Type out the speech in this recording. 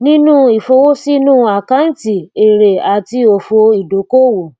ninu ifowosinu akanti ere ati ofo idokoowo